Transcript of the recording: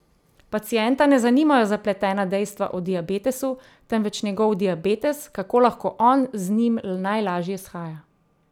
Pacienta ne zanimajo zapletena dejstva o diabetesu, temveč njegov diabetes, kako lahko on z njim najlaže shaja.